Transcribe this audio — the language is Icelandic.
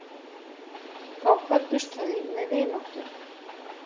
Þá kvöddust þau með vináttu.